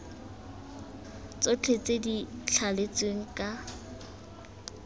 tsotlhe tse di thaletsweng ka